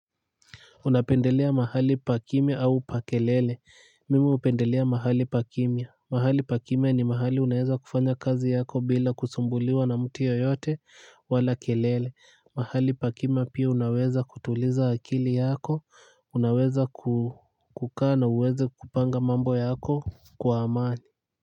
Unapendelea mahali pa kimia au pa kelele. Mimi upendelea mahali pa kimia. Mahali pa kimia ni mahali unaeza kufanya kazi yako bila kusumbuliwa na mtu ye yote wala kelele. Mahali pa kimia unaweza kutuliza akili yako. Unaweza kukaa na uweze kupanga mambo yako kwa amani.